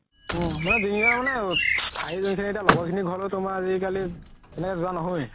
লগৰ খিনিৰ ঘৰতো তুমাৰ আজিকালি যুৱা নহয়ে